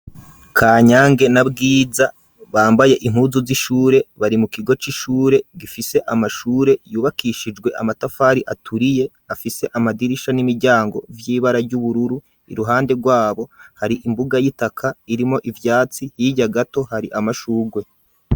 Kanyange n'abwiza bambaye impuzu z'ishure bari mu kigo c'ishure gifise amashure yubakishijwe amatafari aturiye afise amadirisha n'imiryango vy'ibara ry'ubururu iruhande rwabo hari imbuga y'itaka irimo ivyatsi hirya gato hari amashugwe.